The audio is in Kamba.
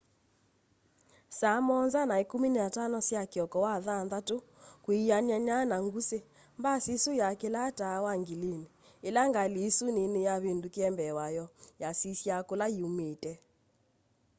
saa 1:15 sya kioko wathanthatu kwianana na ngusi mbasi isu yakilaa taa wa ngilini ila ngali isu nini yavindukiie mbee wayo yasisya kula yiiumite